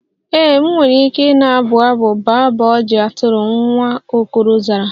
Ee, m nwere ike na-abụ abụ baa baa ojii atụrụ, nwa okoro zara.